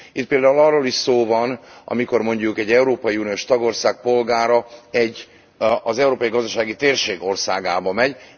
Itt például arról is szó van, amikor mondjuk egy európai uniós tagország polgára egy, az európai gazdasági térség országába megy.